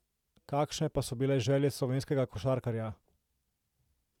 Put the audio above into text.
Kakšne pa so bile želje slovenskega košarkarja?